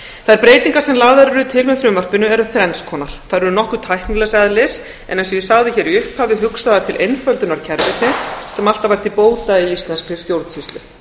þær breytingar sem lagðar eru til með frumvarpinu eru þrenns konar þær eru nokkuð tæknilegs eðlis en eins og ég sagði hér í upphafi hugsaðar til einföldunar kerfisins sem alltaf á til bóta í íslenskri stjórnsýslu